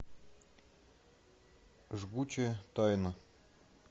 жгучая тайна